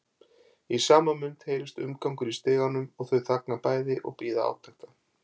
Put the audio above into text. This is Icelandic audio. Í sama mund heyrist umgangur í stiganum og þau þagna bæði og bíða átekta.